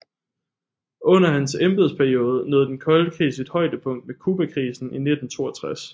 Under hans embedsperiode nåede den kolde krig sit højdepunkt med Cubakrisen i 1962